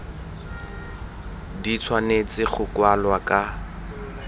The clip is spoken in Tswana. di tshwanetse go kwalwa ka